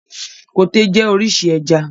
Koté jẹ́ orísun ẹja.